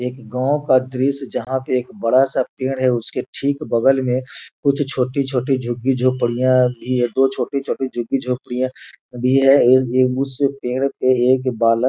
एक गांव का दृश्य जहां पे एक बड़ा-सा पेड़ है उसके ठीक बगल में कुछ छोटी-छोटी झुगी झोपड़ियां भी है दो छोटे-छोटे झुगी झोपड़ियां भी है ये उस पेड़ पे एक बालक --